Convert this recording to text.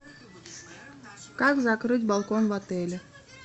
как закрыть балкон в отеле